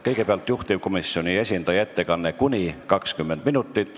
Kõigepealt on juhtivkomisjoni esindaja ettekanne, mis kestab kuni 20 minutit.